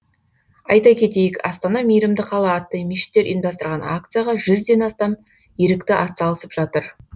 айта кетейік астана мейірімді қала атты мешіттер ұйымдастырған акцияға жүзден астам ерікті атсалысып жатыр